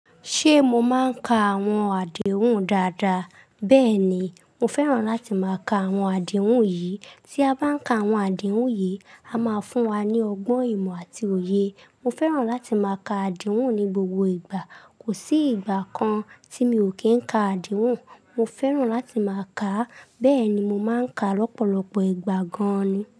Ṣe mo máa n ka àwọn àdéhùn dáadáa? Bẹẹni, mo fẹ́ràn láti máa ka àwọn àdéhùn yìí. Tí a bá n ka àwọn àdéhùn yìí, a máa fún wa ní ọgbọ́n ìmọ̀ àti òye. Mo fẹ́ràn láti máa ka àdéhùn ní gbogbo ìgbà. Kò sí ìgbà kan tí mi ò kí ń ka àdéhùn. Mo fẹ́ràn láti máa kà á. Bẹ́ẹ̀ni mo máa ń ka lọ́pọ̀lọpọ̀ ìgbà gan-an ni.